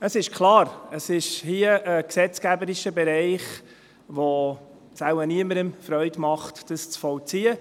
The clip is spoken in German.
Es ist klar, es geht hier um einen gesetzgeberischen Bereich, in dem es wohl niemandem Freude macht, dies zu vollziehen.